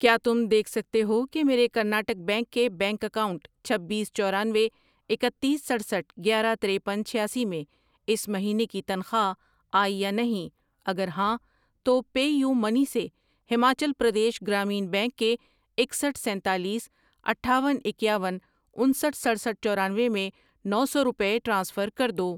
کیا تم دیکھ سکتے ہو کہ میرے کرناٹک بینک کے بینک اکاؤنٹ چھبیس، چورانوے، اکتیس، سٹرسٹھ ،گیارہ ،ترپن، چھیاسی میں اس مہینے کی تنخواہ آئی یا نہیں؟ اگر ہاں تو پے یو منی سے ہماچل پردیش گرامین بینک کے اکسٹھ ،سینتالیس، اٹھاون، اکیاون، انسٹھ ،سٹرسٹھ ،چورانوے میں نو سو روپے ٹرانسفر کر دو۔